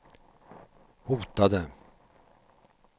hotade